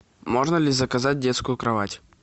можно ли заказать детскую кровать